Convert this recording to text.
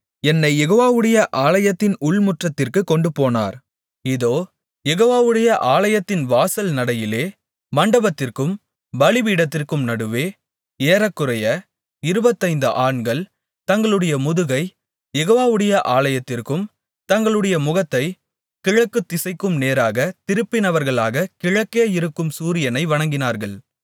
என்னைக் யெகோவாவுடைய ஆலயத்தின் உள்முற்றத்திற்கு கொண்டுபோனார் இதோ யெகோவாவுடைய ஆலயத்தின் வாசல் நடையிலே மண்டபத்திற்கும் பலிபீடத்திற்கும் நடுவே ஏறக்குறைய இருபத்தைந்து ஆண்கள் தங்களுடைய முதுகைக் யெகோவாவுடைய ஆலயத்திற்கும் தங்களுடைய முகத்தைக் கிழக்குத்திசைக்கும் நேராகத் திருப்பினவர்களாகக் கிழக்கே இருக்கும் சூரியனை வணங்கினார்கள்